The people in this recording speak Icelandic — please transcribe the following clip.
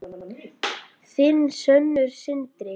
Þinn sonur, Sindri.